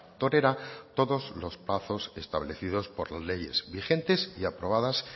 torera todos los plazos establecidos por las leyes vigentes y aprobadas